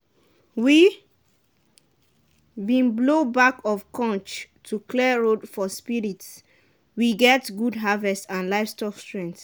we been blow back of conch to clear road for spirits we get good harvest and livestock strength.